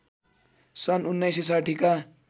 सन् १९६० का